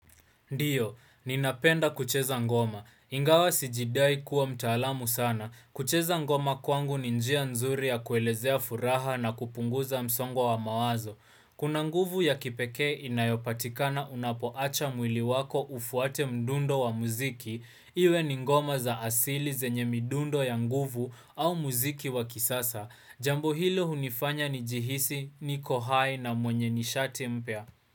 Ndio, ninapenda kucheza ngoma. Ingawa sijidai kuwa mtaalamu sana. Kucheza ngoma kwangu ni njia nzuri ya kuelezea furaha na kupunguza msongo wa mawazo. Kuna nguvu ya kipekee inayopatikana unapoacha mwili wako ufuate mdundo wa muziki. Iwe ni ngoma za asili zenye midundo ya nguvu au muziki wa kisasa. Jambo hilo hunifanya nijihisi, niko hai na mwenye nishati mpya.